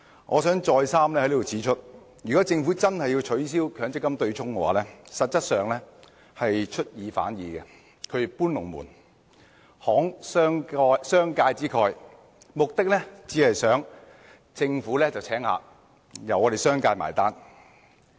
我想在此再三指出，如果政府真的要取消強積金對沖機制，實質上是出爾反爾、"搬龍門"、"慷商界之慨"，目的只是想政府"請客"，由商界"埋單"。